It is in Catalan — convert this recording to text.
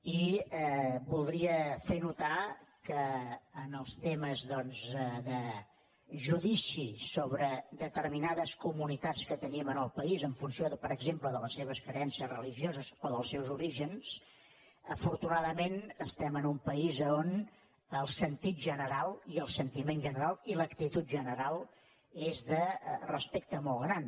i voldria fer notar que en els temes doncs de judici sobre determinades comunitats que tenim al país en funció per exemple de les seves creences religioses o dels seus orígens afortunadament estem en un país a on el sentit general i el sentiment general i l’actitud general són de respecte molt gran